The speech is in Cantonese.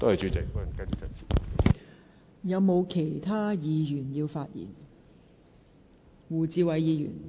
是否有其他議員想發言？